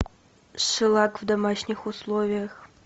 шеллак в домашних условиях